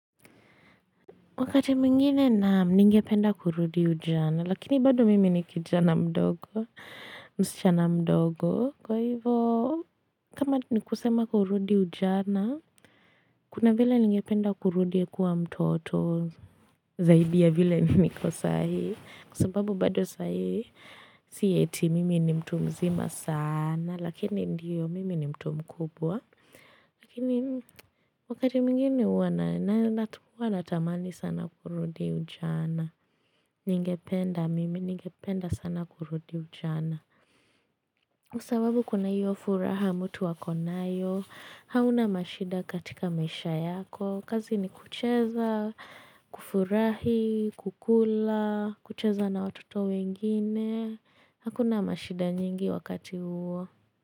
Wakati mwingine naam ningependa kurudi ujana, lakini bado mimi ni kijana mdogo, msichana mdogo. Kwa hivo, kama ni kusema kurudi ujana, kuna vile ningependa kurudi kuwa mtoto zaidi ya vile mimi niko sahii. Kwa sababu bado sahii, siyoeti mimi ni mtu mzima sana, lakini ndiyo mimi ni mtu mkubwa. Lakini wakati mwingine huwa na, natuwa natamani sana kurudi ujana. Ningependa mimi, ningependa sana kurudi ujana kwa sababu kuna hiyo furaha mtu akonayo hauna mashida katika maisha yako kazi ni kucheza, kufurahi, kukula, kucheza na watoto wengine Hakuna mashida nyingi wakati huo.